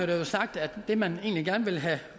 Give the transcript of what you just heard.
der jo sagt at det man gerne ville have